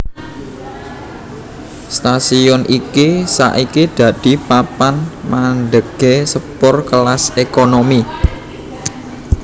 Stasiun iki saiki dadi papan mandhegé sepur kelas ékonomi